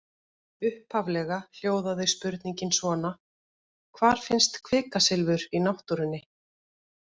Upphaflega hljóðaði spurningin svona: Hvar finnst kvikasilfur í náttúrunni?